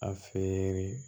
A feere